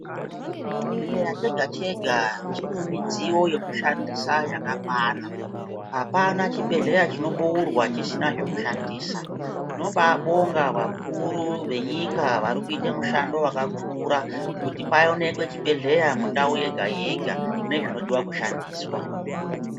Chibhedhleya chega chega chine midziyo yekushandisa yakakwana apana chibhedhleya chinoboorwa chisina zvekushandisa tinobaabonga vakuru venyika vari kuite mushando wakakura kuti paonekwe chibhedhleya mundau yega yega nezvinodiwa kushandiswa.